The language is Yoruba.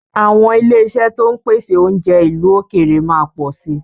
Àwọn ilé-iṣẹ́ to ń pèsè oúnjẹ ìlú òkèèrè máa pọ̀ si